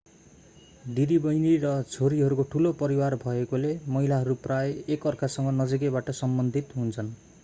दिदिबहिनी र छोरीहरूको ठूलो परिवार भएकोले महिलाहरू प्रायः एक अर्कासँग नजिकैबाट सम्बन्धित हुन्छन्